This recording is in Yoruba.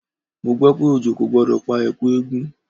Mo gbọ́ pé òjò kò gbọdọ̀ pa Ẹ̀kú eégún.